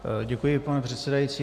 Děkuji, pane předsedající.